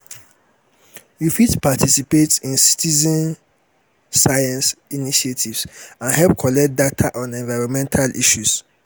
you fit participate in citezen science initiatives and help collect data on environmental issues.